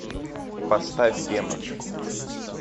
поставь демон